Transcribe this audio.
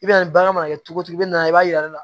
I bɛ na nin bagan mana kɛ cogo cogo i bɛna i b'a yir'a la